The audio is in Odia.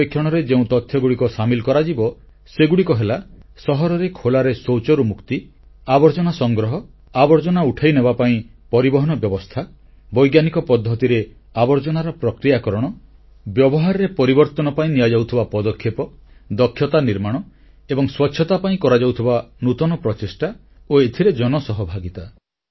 ସର୍ବେକ୍ଷଣରେ ଯେଉଁ ପରିମାପକଗୁଡ଼ିକ ସାମିଲ କରାଯିବ ସେଗୁଡ଼ିକ ହେଲା ସହରରେ ଖୋଲାରେ ଶୌଚରୁ ମୁକ୍ତି ଆବର୍ଜନା ସଂଗ୍ରହ ଆବର୍ଜନା ଉଠାଇନେବାପାଇଁ ପରିବହନ ବ୍ୟବସ୍ଥା ବୈଜ୍ଞାନିକ ପଦ୍ଧତିରେ ଆବର୍ଜନାର ପ୍ରକ୍ରିୟାକରଣ ବ୍ୟବହାରରେ ପରିବର୍ତ୍ତନ ପାଇଁ ନିଆଯାଉଥିବା ପଦକ୍ଷେପ ସାମର୍ଥ୍ୟ ନର୍ମାଣ ଏବଂ ସ୍ୱଚ୍ଛତା ପାଇଁ କରାଯାଉଥିବା ନୂତନ ପ୍ରଚେଷ୍ଟା ଓ ଏଥିରେ ଜନସହଭାଗିତା